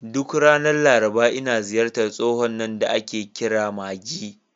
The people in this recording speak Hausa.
Duk ranar Laraba, ina ziyartar tsohon nan da ake kira Maje.